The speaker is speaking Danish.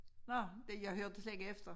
Nåh jeg hørte slet ikke efter